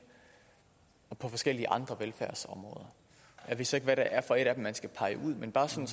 og på forskellige andre velfærdsområder jeg ved så ikke hvad det er for et af dem man skal pege ud men bare sådan